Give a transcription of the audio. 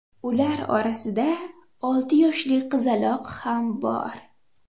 Ular orasida olti yoshli qizaloq ham bor.